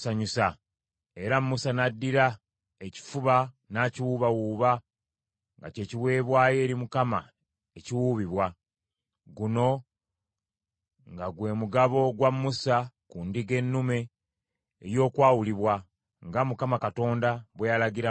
Era Musa n’addira ekifuba n’akiwuubawuuba, nga kye kiweebwayo eri Mukama ekiwuubibwa. Guno nga gwe mugabo gwa Musa ku ndiga ennume ey’okwawulibwa, nga Mukama Katonda bwe yalagira Musa.